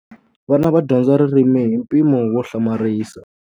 Vana va dyondza ririmi hi mpimo wo hlamarisa.